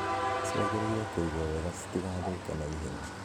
Ciagĩrĩirwo kũigwo wega citigathũke naihenya.